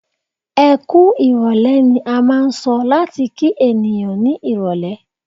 "Ẹkú ìrọ̀lẹ́" ni a máà ń sọ láti kí ènìyàn ní irọ̀lẹ́.